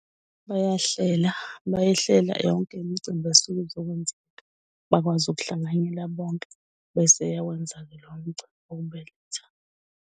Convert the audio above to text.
Bayahlela, bayihlela yonke imcimbi esuke izokwenzeka bakwazi ukuhlanganyela bonke bese eyawenza-ke lowo mcimbi wokubeletha.